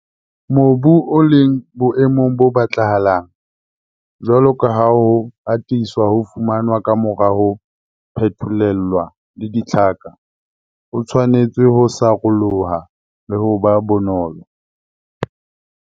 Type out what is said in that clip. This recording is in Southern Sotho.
Mobu o leng boemong bo batlahalang, jwalo ka ha ho atisa ho fumanwa ka mora ho phetholellwa le ditlhaka, o tshwanetse ho saroloha le ho ba bonolo.